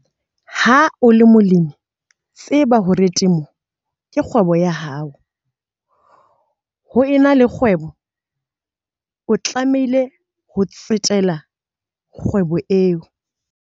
Ha o le molemi, tseba hore temo ke kgwebo ya hao. Ha o ena le kgwebo, o tlamehile ho tsetela kgwebong eo.